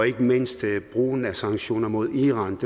ikke mindst brugen af sanktioner mod iran